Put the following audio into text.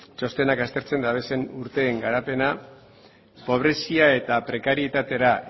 txostenak aztertzen diren urteen garapena pobrezia eta prekarietatera